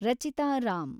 Rachita Ram